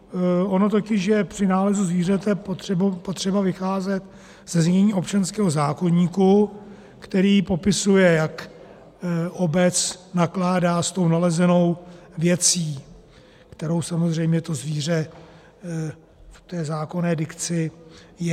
Ono totiž je při nálezu zvířete potřeba vycházet ze znění občanského zákoníku, který popisuje, jak obec nakládá s tou nalezenou věcí, kterou samozřejmě to zvíře v té zákonné dikci je.